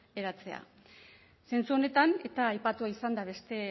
eratzea zentzu honetan eta aipatua izan da beste